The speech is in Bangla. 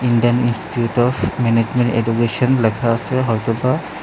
Indian institute of management education লেখা আছে হয়তো বা--